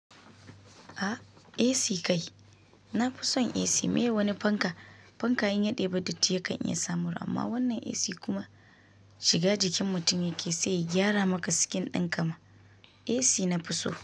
A, AC kai. Na fi son AC mai wani fanka. Fanka in ya daibi datti ya kan iya sa mura. Amma wannan AC kuma shiga jikin mutum yake sai ya gyara maka skin ɗin kama. AC na fi so.